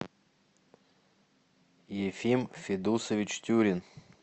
ефим федусович тюрин